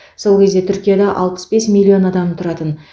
сол кезде түркияда алпыс бес миллион адам тұратын